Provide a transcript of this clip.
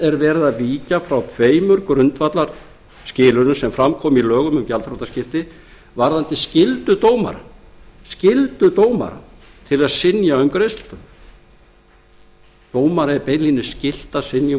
er verið að víkja frá tveimur grundvallarskilyrðum sem fram koma í lögum um gjaldþrotaskipti varðandi skyldu dómara að synja um heimild til greiðslustöðvunar dómara er beinlínis skylt að synja um